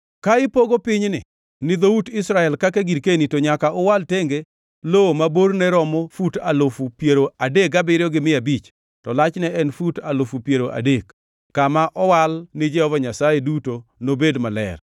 “ ‘Ka ipogo pinyni ni dhout Israel kaka girkeni, to nyaka uwal tenge lowo ma borne romo fut alufu piero adek gabiriyo gi mia abich, to lachne en fut alufu piero adek. Kama owal ni Jehova Nyasaye duto nobed maler.